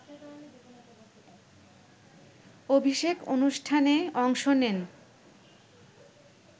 অভিষেক অনুষ্ঠানে অংশ নেন